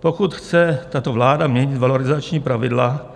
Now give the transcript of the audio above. Pokud chce tato vláda měnit valorizační pravidla,